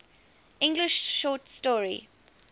english short story